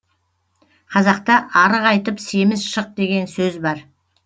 қазақта арық айтып семіз шық деген сөз бар